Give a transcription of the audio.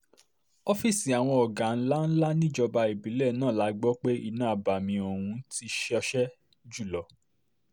ọ́fíìsì àwọn ọ̀gá ńlá ńlá níjọba ìbílẹ̀ náà la gbọ́ pé iná abàmì ọ̀hún ti ṣọṣẹ́ jù lọ